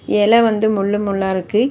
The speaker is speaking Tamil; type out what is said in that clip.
இலை வந்து முள்ளு முள்ளா இருக்கு.